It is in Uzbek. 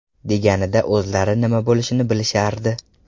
Deganida o‘zlari nima bo‘lishini bilishardi.